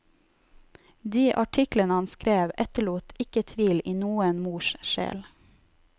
De artiklene han skrev etterlot ikke tvil i noen mors sjel.